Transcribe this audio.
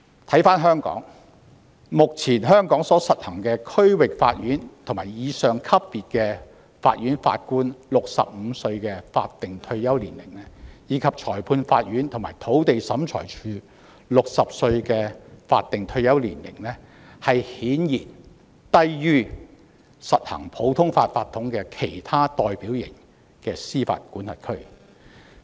反觀香港，目前香港就區域法院及以上級別法院法官所訂的65歲法定退休年齡，以及就裁判官和土地審裁處人員所訂的60歲法定退休年齡，顯然低於實行普通法法統的其他代表型司法管轄區。